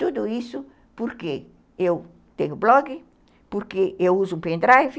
Tudo isso porque eu tenho blog, porque eu uso o pendrive,